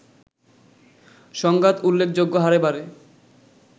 সংঘাত উল্লেখযোগ্য হারে বাড়ে”